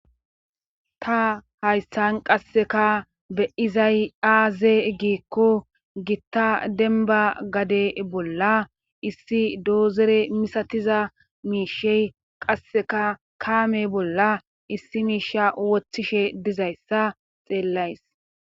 ta haysan qasseka be7izay aaze giikko gitta denba gade bolla issi doozere misatiza miishey qasseka kaame bolla issi miisha woththishe dizayssa xeellays